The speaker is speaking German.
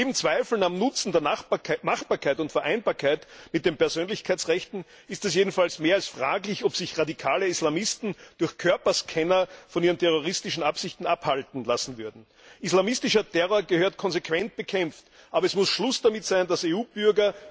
Neben Zweifeln am Nutzen, an der Machbarkeit und an der Vereinbarkeit mit den Persönlichkeitsrechten ist es jedenfalls mehr als fraglich, ob sich radikale Islamisten durch Körperscanner von ihren terroristischen Absichten abhalten lassen würden. Islamistischer Terror gehört konsequent bekämpft, aber es muss Schluss damit sein, dass EU Bürger immer wieder